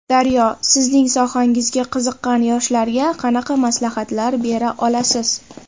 Daryo: Sizning sohangizga qiziqqan yoshlarga qanaqa maslahatlar bera olasiz?